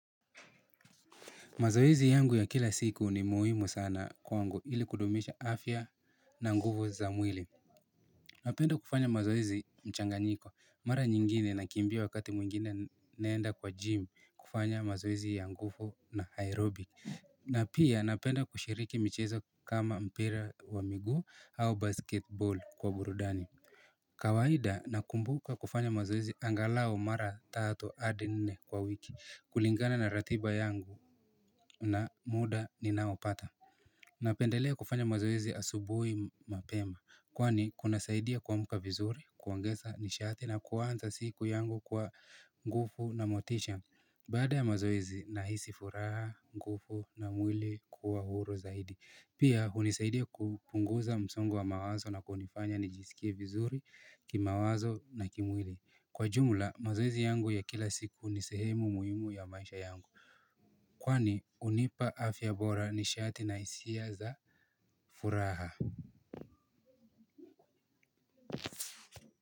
Mazoezi yangu ya kila siku ni muhimu sana kwangu ili kudumisha afya na nguvu za mwili. Napenda kufanya mazoezi mchanganyiko. Mara nyingine nakimbia wakati mwingine naenda kwa gym kufanya mazoezi ya nguvo na aerobik. Na pia napenda kushiriki michezo kama mpira wa miguu au basketboli kwa burudani. Kawaida nakumbuka kufanya mazoezi angalao mara tatu hadi nne kwa wiki. Kulingana na ratiba yangu na muda ninaopata napendelea kufanya mazoezi asubui mapema. Kwani kunasaidia kuamka vizuri, kuongeza nishati na kuanza siku yangu kwa nguvu na motisha. Bada ya mazoezi nahisi furaha, nguvu na mwili kuwa huru zaidi. Pia hunisaidia kupunguza msongo wa mawazo na kunifanya nijisikie vizuri kimawazo na kimwili. Kwa jumla mazoezi yangu ya kila siku ni sehemu muhimu ya maisha yangu. Kwani hunipa afya bora nishati na hisia za furaha.